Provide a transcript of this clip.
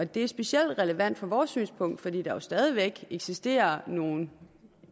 det er specielt relevant ud fra vores synspunkt fordi der jo stadig væk eksisterer nogle